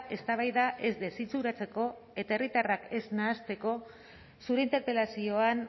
eztabaida ez desitxuratzeko eta herritarrak ez nahasteko zure interpelazioan